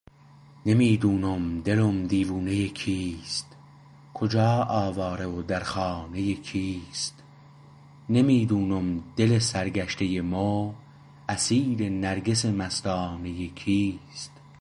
نمی دانم دلم دیوانه کیست کجا آواره و در خانه کیست نمی دونم دل سرگشته مو اسیر نرگس مستانه کیست